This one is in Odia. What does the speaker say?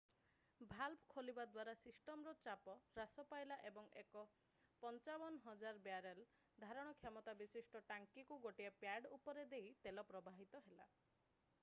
ଭାଲଭ୍ ଖୋଲିବା ଦ୍ୱାରା ସିଷ୍ଟମ୍‌ର ଚାପ ହ୍ରାସ ପାଇଲା ଏବଂ ଏକ 55,000 ବ୍ୟାରେଲ୍ 2.3 ମିଲିୟନ୍ ଗ୍ୟାଲନ୍ ଧାରଣ କ୍ଷମତା ବିଶିଷ୍ଟ ଟାଙ୍କିକୁ ଗୋଟିଏ ପ୍ୟାଡ୍‌ ଉପର ଦେଇ ତେଲ ପ୍ରବାହିତ ହେଲା।